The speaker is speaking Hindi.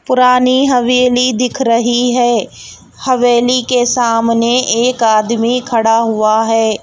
पुरानी हवेली दिख रही है हवेली के सामने एक आदमी खड़ा हुआ है.